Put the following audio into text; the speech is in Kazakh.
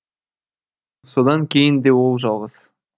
содан кейін де ол жалғыз